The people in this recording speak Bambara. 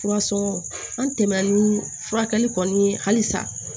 Furasɔn an tɛmɛni furakɛli kɔni halisa